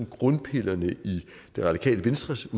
grundpillerne i det radikale venstres